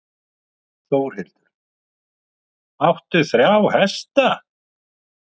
Þórhildur: Áttu þrjá hesta?